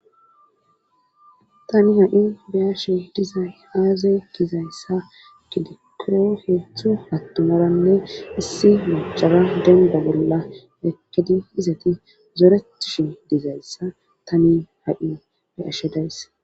Tani ha7i biyashe dizay aazey kizayssa kidikke heethu hattumaranne issi machara denba bolla ekedi izati zoretishi dizayssa tani ha7i beyashe days.